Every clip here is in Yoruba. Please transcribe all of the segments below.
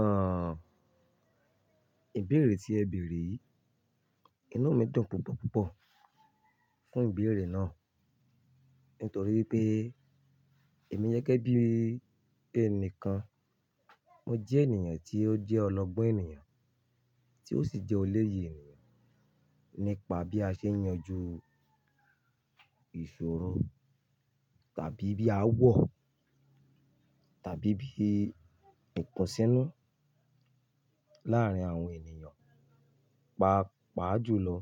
Àh, ìbéèrè tí ẹ bèèrè yii, inú mi dùn púpọ̀ púpọ̀ fún ìbéèrè náà. Nítorí pé èmi jẹ́ gege bí i ẹni kan, mo jẹ́ ènìyàn tí ó jẹ́ ọlọ́gbọ́n ènìyàn tí ó sì jẹ́ olóye ènìyàn nípa bí a ṣe ń yanjú ìṣòro tàbí bí a wò tàbí bí ìtàn sínú láàárín àwọn ènìyàn, pa-pa ju lọ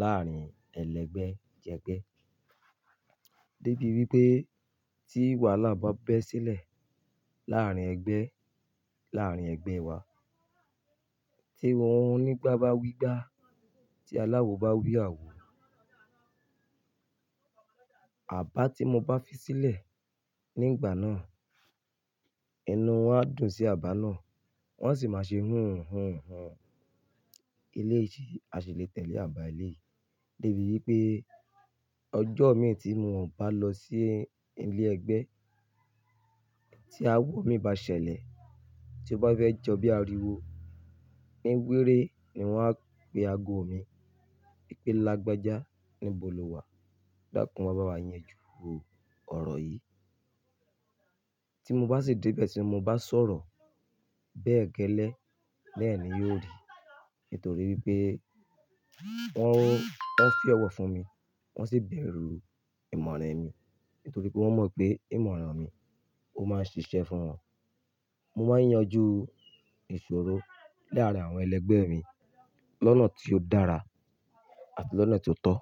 láàárín ẹlẹgbẹ́ jẹgbẹ́. Débi wípé tí wàhálà bá bẹ́ sílẹ̀ láàárín ẹgbẹ́, láàárín ẹgbẹ́ wa, tí òhun nígbà bá wí gbà, tí aláwo bá wí àwo, àbá tí mo bá fi sílẹ̀ ní ìgbà náà, inú wọn á dùn sí àbá náà. Wọ́n sì máa ṣe hun hun hun. Ilé se áṣi lè tẹ̀lé àbá ilé. Débi wípé ọjọ́ mi tí mo bá lọ sí ilé ẹgbẹ́ tí awọ mi bá ṣẹlẹ̀ tí ó bá fẹ́ jọ bí àríwó ní wéré ni wọ́n á pe ago mi. Nipe lágbájá níbo lo wà? Bákan wa bá wá yanjú ọ̀rọ̀ yìí. Tí mo bá sì dé ibe tí mo bá sọ̀rọ̀, bẹ́ẹ̀ gẹ́lẹ́ lẹ́ẹ̀ni yóò rí. Nítorí wipé wọ́n fi ọ̀wọ̀ fún mi, wọ́n sì bẹ̀rù ìmọ̀ràn mi. Nítorí pé wọ́n mọ̀ pé ìmọ̀ràn mi, ó máa ń ṣiṣẹ́ fún wọn. Mo máa ń yanjú ìṣòro láàárín àwọn ẹlẹgbẹ́ mi lọ́nà tí ó dára àti lọ́nà tí ó tọ́.